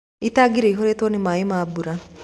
Tangi ĩiyũrĩtwo nĩ maĩ ma mbura